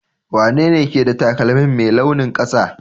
wanene ke da taƙalmin Mai launin kasa?